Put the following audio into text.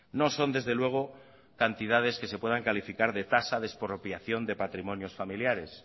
no son desde luego cantidades que se puedan calificar de tasa de expropiación de patrimonios familiares